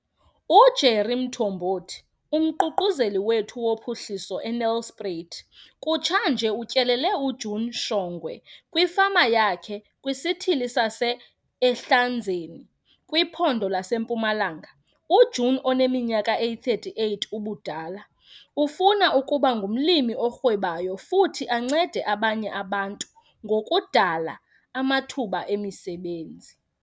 UJerry Mthombothi, uMququzeleli wethu woPhuhliso eNelspruit, kutshanje utyelele uJune Shongwe kwifama yakhe kwisithili sase-Ehlanzeni, kwiPhondo laseMpumalanga. UJune oneminyaka eyi-38 ubudala ufuna ukuba ngumlimi orhwebayo futhi ancede abanye abantu ngokudala amathuba emisebenzi.